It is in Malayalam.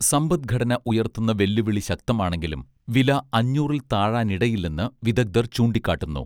സമ്പദ്ഘടന ഉയർത്തുന്ന വെല്ലുവിളി ശക്തമാണെങ്കിലും വില അഞ്ഞൂറിൽ താഴാനിടയില്ലെന്ന് വിദഗ്ധർ ചൂണ്ടിക്കാട്ടുന്നു